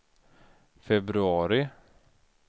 februari